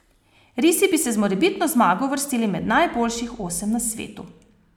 Risi bi se z morebitno zmago uvrstili med najboljših osem na svetu!